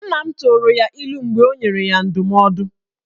Nna m tụrụ ya ilu mgbe ọ nyere ya ndụmọdụ